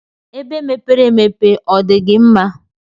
Ebe mepere emepe ọdigi mma?